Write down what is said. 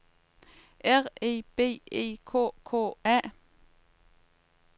R E B E K K A